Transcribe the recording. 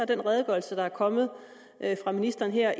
den redegørelse der er kommet fra ministeren her